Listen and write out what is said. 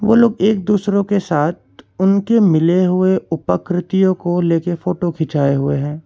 वो लोग एक दूसरों के साथ उनके मिले हुए उपाकृतियों को लेके फोटो खिंचाए हुए हैं।